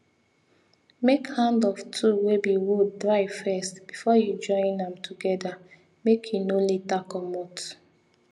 make hand of tool wey be wood dry first before you join am together make e no later comot